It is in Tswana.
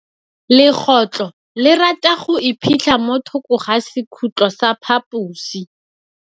Legôtlô le rata go iphitlha mo thokô ga sekhutlo sa phaposi.